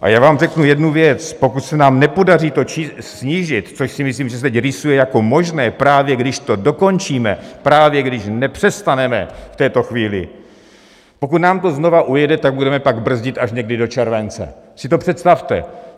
A já vám řeknu jednu věc: pokud se nám nepodaří to snížit, což si myslím, že se teď rýsuje jako možné, právě když to dokončíme, právě když nepřestaneme v této chvíli - pokud nám to znovu ujede, tak budeme pak brzdit až někdy do července, si to představte!